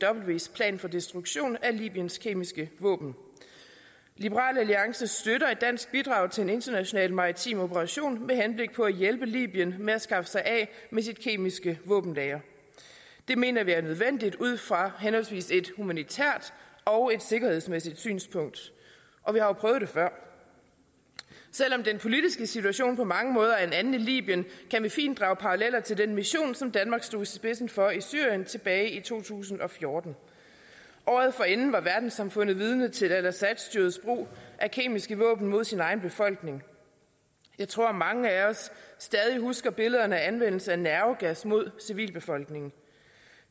opcws plan for destruktion af libyens kemiske våben liberal alliance støtter et dansk bidrag til en international maritim operation med henblik på at hjælpe libyen med at skaffe sig af med sit kemiske våbenlagre det mener vi er nødvendigt ud fra henholdsvis et humanitært og et sikkerhedsmæssigt synspunkt og vi har jo prøvet det før selv om den politiske situation på mange måder er en anden i libyen kan vi fint drage paralleller til den mission som danmark stod i spidsen for i syrien tilbage i to tusind og fjorten året forinden var verdenssamfundet vidne til assadstyrets brug af kemiske våben mod sin egen befolkning jeg tror at mange af os stadig husker billederne af anvendelsen af nervegas mod civilbefolkningen